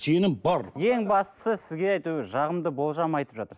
сенім бар ең бастысы сізге әйтеуір жағымды болжам айтып жатыр